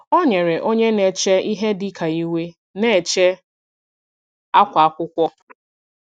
Ọ nyere onye nọ na-eche ihe dị ka iwe na-eche akwa akwụkwọ.